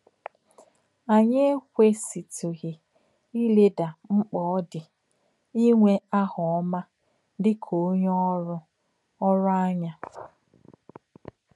Ányị̀ um èkwèsìtụ̀ghí ìlèdà m̀kpà ò dì ínwè àhà ọ̀má dì kà ọ̀nyé òrụ̀ um òrụ̀ um ànyà.